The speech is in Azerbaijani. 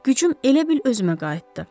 Gücüm elə bil özümə qayıtdı.